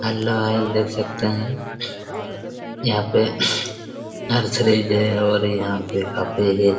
hello guys देख सकते हैं यहाँ पे और यहाँ पे काफी--